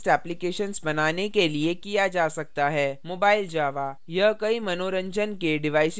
mobile java: यह कई मंनोरजन के डिवाइसेस के लिए उपयोगित है जैसे mobile phone